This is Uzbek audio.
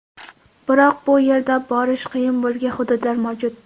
Biroq bu yerda borish qiyin bo‘lgan hududlar mavjud.